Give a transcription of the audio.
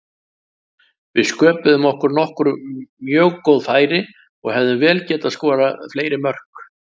Við sköpuðum okkur nokkur mjög góð færi og hefðum vel getað skorað fleiri mörk.